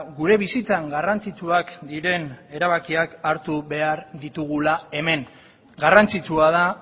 gure bizitzan garrantzitsuak diren erabakiak hartu behar ditugula hemen garrantzitsua da